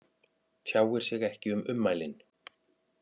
Tjáir sig ekki um ummælin